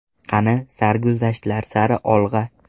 Qani, sarguzashtlar sari olg‘a!